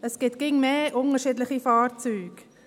Es gibt immer mehr unterschiedliche Fahrzeuge.